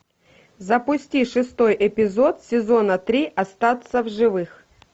запусти шестой эпизод сезона три остаться в живых